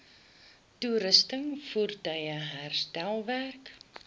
toerusting voertuie herstelwerk